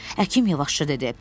Həkim yavaşca dedi.